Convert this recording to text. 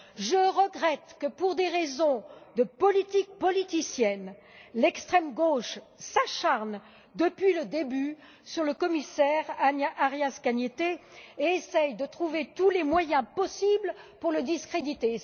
Je regrette que, pour des raisons de politique politicienne, l'extrême gauche s'acharne depuis le début sur le commissaire Arias Cañete et essaie de trouver tous les moyens possibles pour le discréditer.